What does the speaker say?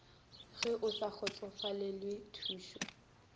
ge o sa kgotsofalele thušo